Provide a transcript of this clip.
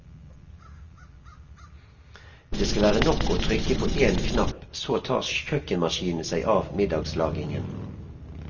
Det skal være nok å trykke på en knapp så tar kjøkkenmaskinene seg av middagslagingen.